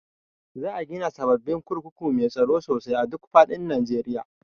Za a gina sababbin kurkuku mai tsaro sosai a duk faɗin Najeriya